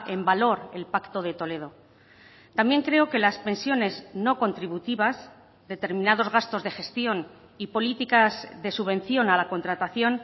en valor el pacto de toledo también creo que las pensiones no contributivas determinados gastos de gestión y políticas de subvención a la contratación